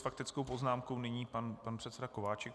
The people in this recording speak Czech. S faktickou poznámkou nyní pan předseda Kováčik.